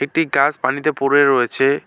একটি গাছ পানিতে পড়ে রয়েছে।